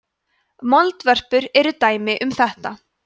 moldvörpur eru dæmi um þetta